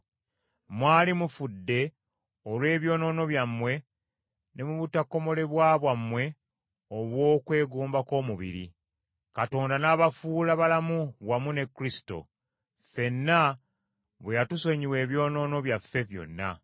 Mwali mufudde olw’ebyonoono byammwe ne mu butakomolebwa bwammwe obw’okwegomba kw’omubiri. Katonda n’abafuula balamu wamu ne Kristo, ffenna bwe yatusonyiwa ebyonoono byaffe byonna.